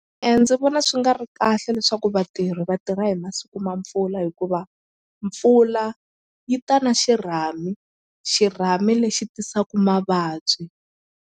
ndzi vona swi nga ri kahle leswaku vatirhi vatirha hi masiku ma mpfula hikuva mpfula yi ta na xirhami xirhami lexi tisaku mavabyi.